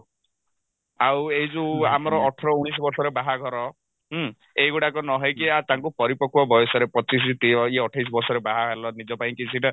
ଆଉ ଏଇ ଯଉ ଆମର ଅଠର ଉଣେଇଶି ବର୍ଷରେ ବାହାଘର ହୁଁ ଏଇଗୁଡାକ ନହେଇକି ତାଙ୍କ ପରିପକ୍ଵ ବୟସରେ ପଚିଶି ତି ଏ ଅଠେଇଶି ବର୍ଷରେ ବାହା ହେଲ ନିଜ ପାଇଁ କିଛିଟା